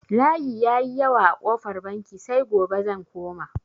Layi ya yi yawa a kofar banki, sai gobe zan koma.